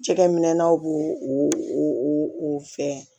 Cɛkɛminɛnw b'o o o fɛn